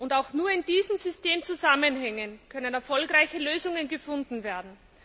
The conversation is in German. Und auch nur in diesen Systemzusammenhängen können erfolgreiche Lösungen gefunden werden.